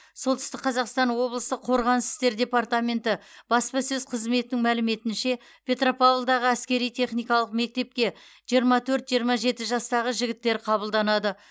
солтүстік қазақстан облысы қорғаныс істер департаменті баспасөз қызметінің мәліметінше петропавлдағы әскери техникалық мектепке жиырма төрт жиырма жеті жастағы жігіттер қабылданады